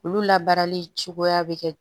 Olu la baarali cogoya bɛ kɛ